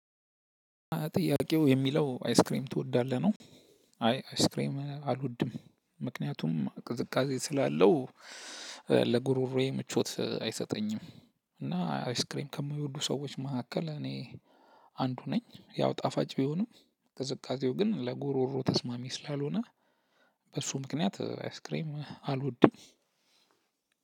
ጥያቄው የሚለው አይስክሬም ትወዳለህ ነው? አይ አይስክሬም አልወድም። ምክንያቱም ቅዝቃዜ ስላለው ለጉሮሮየ ምቾት አይሰጠኝም። እና አይስክሬም ከማይወዱ ሰዎች መካከል እኔ አንዱ ነኝ። ያው ጣፋጭ ቢሆንም ቅዝቃዜው ግን ለጉሮሮ ተስማሚ ስላልሆነ። በእርሱ ምክንያት አይስክሬም አልወድም።